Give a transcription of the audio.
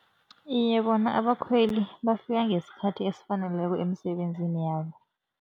Iye, bona abakhweli bafika ngesikhathi esifaneleko emisebenzini yabo.